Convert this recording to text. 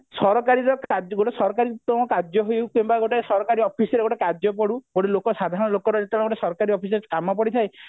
ସରକାରୀର ଗୋଟେ ସରକାରୀ କାର୍ଯ୍ୟ ହଉ କିମ୍ବା ଗୋଟେ ସରକାରୀ office ରେ ଗୋଟେ କାର୍ଯ୍ୟ ପଡୁ ଗୋଟେ ଲୋକ ସାଧାରଣ ଲୋକର ଯେତେବେଳେ ସରକାରୀ office ରେ କାମ ପଡିଥାଏ